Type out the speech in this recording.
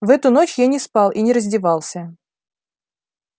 в эту ночь я не спал и не раздевался